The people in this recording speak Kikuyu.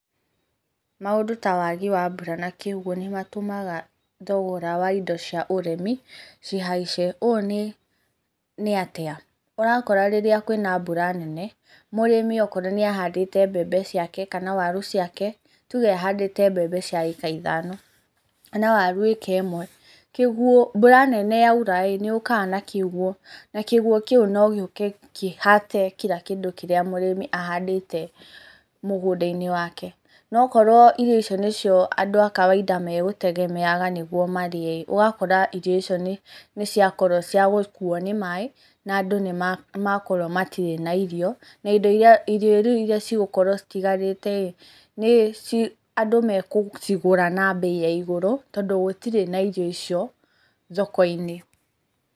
Maũndũ ta wagi wa mbura na kĩguũ nĩ matũmaga thogora wa indo cia ũrĩmi cihaice. Ũũ nĩ atĩa? Ũrakora rĩrĩa kwĩna mbura nene mũrĩmi okorwo nĩ ahandĩte mbembe ciake kana waru ciake, tũge ahandĩte mbembe cia acre ithano kana waru acre imwe, mbura nene yaura nĩ yũkaga na kĩguũ na kĩguũ kĩu no gĩũke kĩhate kira kĩndũ kĩria mũrĩmi ahandĩte mugunda-inĩ wake. No okorwo irio icio nĩcio andũ a kawaida magutegemeaga nĩguo marĩe ĩĩ ugakora irio icio nĩciakorwo cĩagũkuo ni maaĩ na andu nĩ makorwo matirĩ na irio, na irio rĩu iria cigũkorwo citigarĩte andũ magũcigũra na mbei ya igũrũ tondu gũtirĩ na irio icio thoko-inĩ.